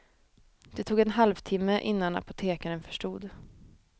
Det tog en halvtimme innan apotekaren förstod.